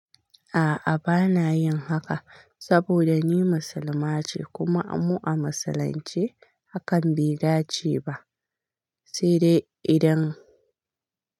A'a bana yin haka saboda ni musulma ce kuma mu a musulunce hakan bai dace ba, sai dai idan.